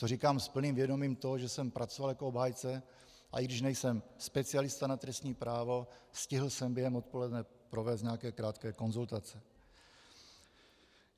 To říkám s plným vědomím toho, že jsem pracoval jako obhájce, a i když nejsem specialista na trestní právo, stihl jsem během odpoledne provést nějaké krátké konzultace.